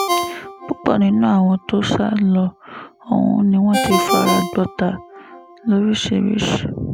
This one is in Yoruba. púpọ̀ nínú àwọn tó sá lọ ọ̀hún ni wọ́n ti fara gbọ́tà lóríṣìíríṣìí